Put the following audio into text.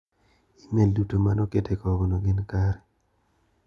imel duto mane okete kogno gin kare.